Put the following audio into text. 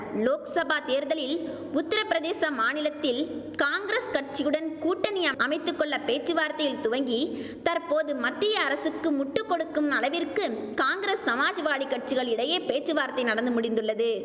லோக்சபா தேர்தலில் உத்திரபிரதேச மாநிலத்தில் காங்கிரஸ் கட்சிகுடன் கூட்டணி அமைத்து கொள்ள பேச்சுவார்த்தையில் துவங்கி தற்போது மத்திய அரசுக்கு முட்டு கொடுக்கும் அளவிற்கு காங்கிரஸ் சமாஜ்வாடி கட்சிகள் இடையே பேச்சுவார்த்தை நடந்து முடிந்துள்ளது